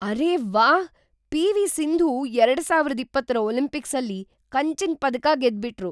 ಅರೇ ವಾಹ್, ಪಿ.ವಿ. ಸಿಂಧೂ ಎರಡು ಸಾವಿರದ ಇಪ್ಪತ್ತರ ಒಲಿಂಪಿಕ್ಸಲ್ಲಿ ಕಂಚಿನ್ ಪದಕ ಗೆದ್ಬಿಟ್ರು.